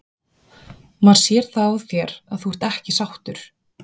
Maður sér það á þér að þú ert ekki sáttur?